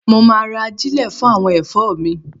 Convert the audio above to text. Mo ma ra ajílẹ̀ fún àwọn ẹ̀fọ́ mi.